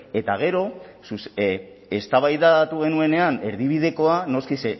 eta gero eztabaidatu genuenean erdibidekoa noski